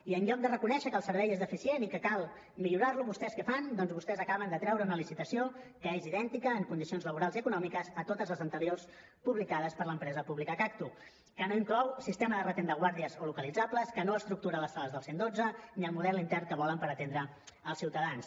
i en lloc de reconèixer que el servei és deficient i que cal millorar lo vostès què fan doncs vostès acaben de treure una licitació que és idèntica en condicions laborals i econòmiques a totes les anteriors publicades per l’empresa pública cagtu que no inclou sistema de retén de guàrdies o localitzables que no estructura les sales del cent i dotze ni el model intern que volen per atendre els ciutadans